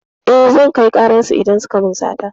Eh, zan kai ƙarar su idan suka min sata.